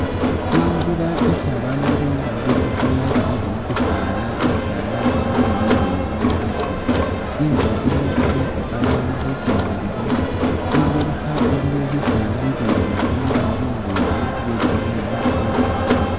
I'nzila isi babaandu baaba nga babirirakho yabirire mubisaala, bili bileyi bikali, i'nzila yino iyeta babaandu khukendelakho, ingelekha iliyo bisaala bibindi bili bileyi bya green bikali